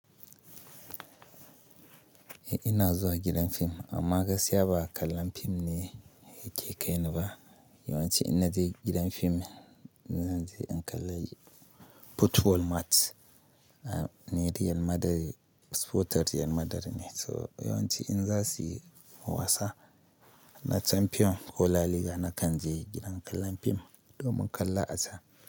Eh ina zuwa gidan fim amma gaskiya ba kallon fim ne yake kai ni ba. Yawanci in naje gidan fim, in zanje in kalla football match ne da yan real Madrid, sporter real Madrid ne. So yawanci in za su yi wasa na Champion ko La Liga, na kan je gidan kallon fim domin kalla a can.